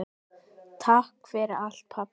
Takk fyrir allt pabbi.